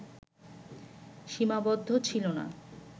সীমাবদ্ধ ছিল না